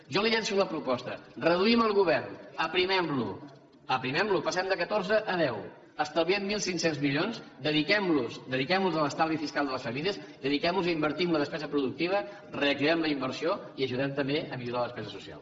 jo li llanço la proposta reduïm el govern aprimemlo passem de catorze a deu estalviem mil cinc cents milions dediquemlos a l’estalvi fiscal de les famílies dediquemlos a invertir en la despesa productiva reactivem la inversió i ajudem també a millorar la despesa social